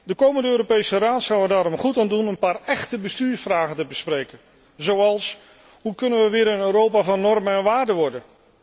De komende Europese Raad zou er daarom goed aan doen een paar echte bestuursvragen te bespreken zoals Hoe kunnen we weer een Europa van normen en waarden worden?